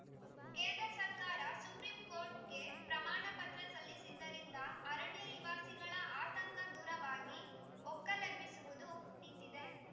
ಕೇಂದ್ರ ಸರ್ಕಾರ ಸುಪ್ರಿಂ ಕೋರ್ಟ್‌ಗೆ ಪ್ರಮಾಣ ಪತ್ರ ಸಲ್ಲಿಸಿದ್ದರಿಂದ ಅರಣ್ಯ ನಿವಾಸಿಗಳ ಆತಂಕ ದೂರವಾಗಿ ಒಕ್ಕಲೆಬ್ಬಿಸುವುದು ನಿಂತಿದೆ